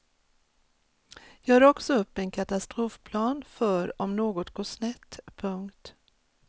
Gör också upp en katastrofplan för om något går snett. punkt